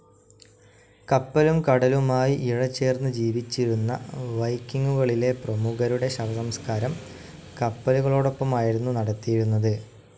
കപ്പലും കടലുമായി ഇഴചേർന്ന് ജീവിച്ചിരുന്ന വൈക്കിങ്ങുകളിലെ പ്രമുഖരുടെ ശവസംസ്കാരം കപ്പലുകളോടൊപ്പമായിരുന്നു നടത്തിയിരുന്നത്.